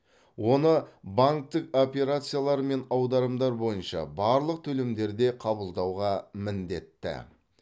оны банктік операциялар мен аударымдар бойынша барлық төлемдерде қабылдауға міндетті